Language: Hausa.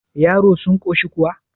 yaro sun koshi kuwa